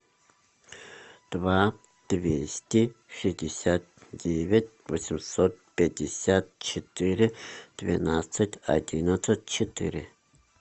два двести шестьдесят девять восемьсот пятьдесят четыре двенадцать одиннадцать четыре